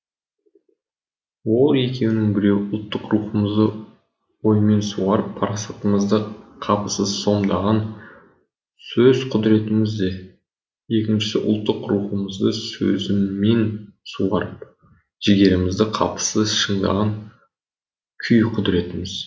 ол екеуінің біреуі ұлттық рухымызды оймен суарып парасатымызды қапысыз сомдаған сөз құдіретіміз де екіншісі ұлттық рухымызды сөзіммен суарып жігерімізді қапысыз шыңдаған күй құдіретіміз